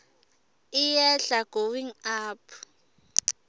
iyehla going up